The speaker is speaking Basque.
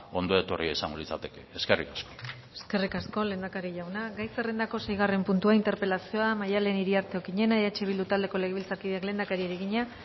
ondo etorria izango litzateke eskerrik asko eskerrik asko lehendakaria jauna gai zerrendako seigarren puntua interpelazioa maddalen iriarte okiñena eh bildu taldeko legebiltzarkideak lehendakariari egina